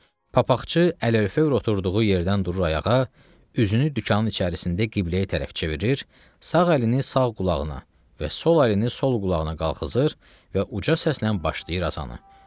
Papaqçı əli örfə oturduğu yerdən durur ayağa, üzünü dükanın içərisində qibləyə tərəf çevirir, sağ əlini sağ qulağına və sol əlini sol qulağına qalxızır və uca səslə başlayır azanı.